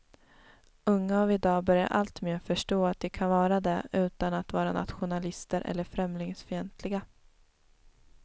Unga av idag börjar allt mer förstå att de kan vara det utan att vara nationalister eller främlingsfientliga.